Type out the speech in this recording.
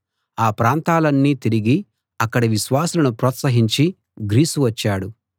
ఆ ప్రాంతాలన్నీ తిరిగి అక్కడి విశ్వాసులను ప్రోత్సహించి గ్రీసు వచ్చాడు